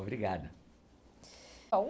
Obrigado.